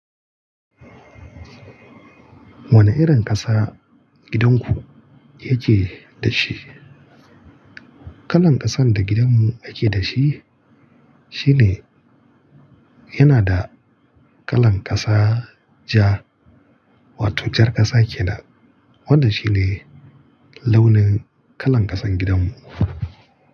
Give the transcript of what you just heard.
Wane irin ƙasa gidanku yake da shi? Kalan ƙasan da gidanmu yake da shi, shine yana da kalan ƙasa ja, wato jar ƙasa kenan. Wannan shine launin kalan ƙasan gidanmu.